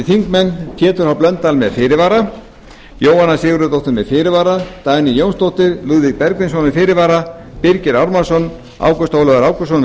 þingmenn pétur h blöndal með fyrirvara jóhanna sigurðardóttir með fyrirvara dagný jónsdóttir lúðvík bergvinsson með fyrirvara birgir ármannsson ágúst ólafur ágústsson með